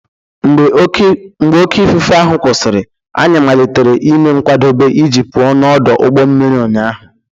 Mgbe oké ifufe ahụ kwụsịrị, anyị malitere ime nkwadebe iji pụọ n'ọdụ ụgbọ mmiri ụnyaahụ.